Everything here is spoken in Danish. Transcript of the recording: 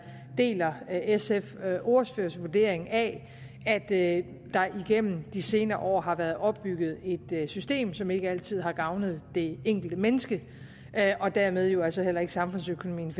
deler sfs ordførers vurdering af at der igennem de senere år har været opbygget et system som ikke altid har gavnet det enkelte menneske og dermed jo altså heller ikke samfundsøkonomien